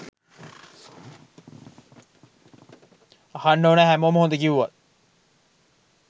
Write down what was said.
අහන්න ඕනා හැමෝම හොඳ කිව්වත්